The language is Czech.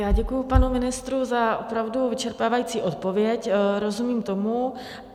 Já děkuji panu ministrovi za opravdu vyčerpávající odpověď, rozumím tomu.